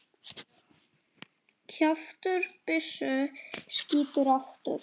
Kjaftur byssu skýtur aftur.